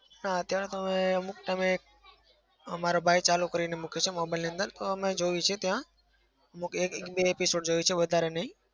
હા. અત્યારે તો હવે અમુક time એ મારા ભાઈ ચાલુ કરીને મુકે છે. mobile ની અંદ. ર અમે જોઈએ છે ત્યાં એક બે episode જોયું છે વધારે નઈ.